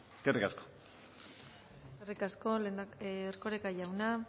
eskerrik asko eskerrik asko erkoreka jauna